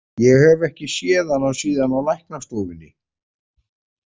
Ég hef ekki séð hann síðan á læknastofunni.